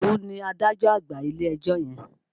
Ìdòwú ni adájọ́ àgbà ilé-ẹjọ́ yẹn.